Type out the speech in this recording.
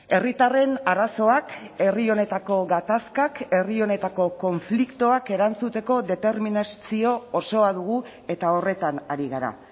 herritarren arazoak herri honetako gatazkak herri honetako konfliktoak erantzuteko determinazio osoa dugu eta horretan ari gara